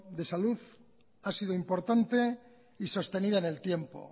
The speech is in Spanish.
de salud ha sido importante y sostenida en el tiempo